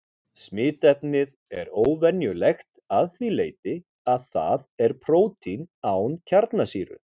Smitefnið er óvenjulegt að því leyti að það er prótín án kjarnasýru.